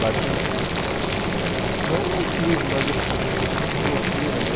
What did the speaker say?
Bate um... Não é um crise, mas assim, você fala, nossa, que loucura, né?